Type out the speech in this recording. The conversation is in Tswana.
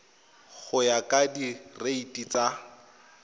go ya ka direiti tsa